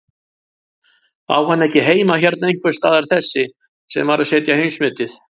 Á hann ekki heima hérna einhversstaðar þessi sem var að setja heimsmetið?